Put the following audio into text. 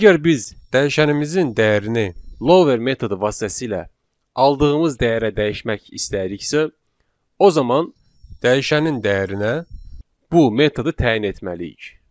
Əgər biz dəyişənimizin dəyərini lower metodu vasitəsilə aldığımız dəyərə dəyişmək istəyiriksə, o zaman dəyişənin dəyərinə bu metodu təyin etməliyik.